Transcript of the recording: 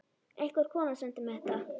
Einhver kona sendi mér þetta.